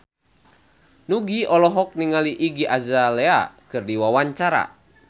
Nugie olohok ningali Iggy Azalea keur diwawancara